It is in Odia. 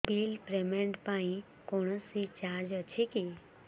ବିଲ୍ ପେମେଣ୍ଟ ପାଇଁ କୌଣସି ଚାର୍ଜ ଅଛି କି